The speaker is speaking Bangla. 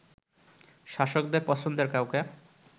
শাসকদের পছন্দের কাউকে